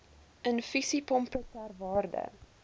infusiepompe ter waarde